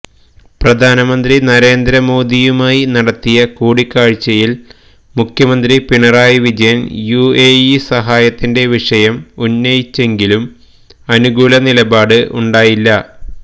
പ്രധാനമന്ത്രി നരേന്ദ്ര മോദിയുമായി നടത്തിയ കൂടിക്കാഴ്ചയില് മുഖ്യമന്ത്രി പിണറായി വിജയന് യുഎഇ സഹായത്തിന്റെ വിഷയം ഉന്നയിച്ചെങ്കിലും അനുകൂല നിലപാട് ഉണ്ടായില്ല